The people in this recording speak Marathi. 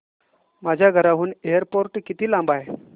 माझ्या घराहून एअरपोर्ट किती लांब आहे